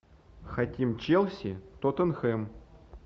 хотим челси тоттенхэм